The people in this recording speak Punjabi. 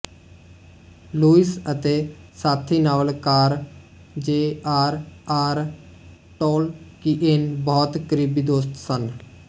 ਲੂਇਸ ਅਤੇ ਸਾਥੀ ਨਾਵਲਕਾਰ ਜੇ ਆਰ ਆਰ ਟੌਲਕੀਏਨ ਬਹੁਤ ਕਰੀਬੀ ਦੋਸਤ ਸਨ